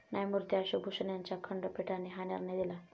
न्यायमुर्ती अशोक भूषण यांच्या खंडपीठाने हा निर्णय दिला.